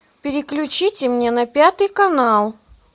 переключите мне на пятый канал